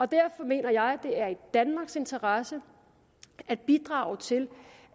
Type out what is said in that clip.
derfor mener jeg det er i danmarks interesse at bidrage til